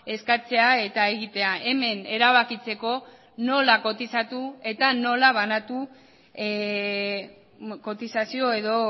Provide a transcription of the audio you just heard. eskatzea eta egitea hemen erabakitzeko nola kotizatu eta nola banatu kotizazio edo